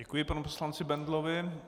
Děkuji panu poslanci Bendlovi.